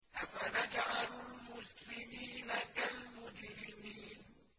أَفَنَجْعَلُ الْمُسْلِمِينَ كَالْمُجْرِمِينَ